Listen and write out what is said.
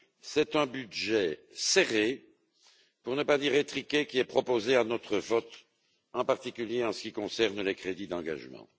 C'est un budget serré pour ne pas dire étriqué qui est proposé à notre vote, en particulier en ce qui concerne les crédits d'engagement.